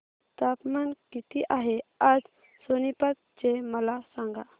तापमान किती आहे आज सोनीपत चे मला सांगा